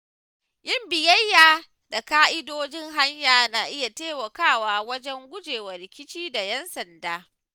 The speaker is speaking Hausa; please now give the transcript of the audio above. Yin biyayya da ƙa’idojin hanya na iya taimakawa wajen gujewa rikici da ‘yan sanda.